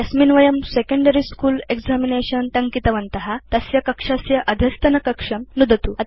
यस्मिन् वयम् secondary school examination टङ्कितवन्त तस्य कक्षस्य अधस्तनकक्षं नुदतु